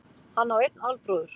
Hann á einn albróður